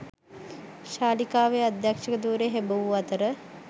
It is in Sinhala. ශාලිකාවේ අධ්‍යක්ෂ ධුරය හෙබවූ අතර